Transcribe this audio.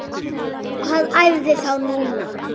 Hvar æfiði þá núna?